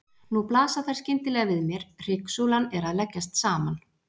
Nú blasa þær skyndilega við mér: Hryggsúlan er að leggjast saman.